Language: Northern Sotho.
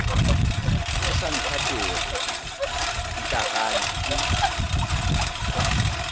o sa nthatego putlaganya ke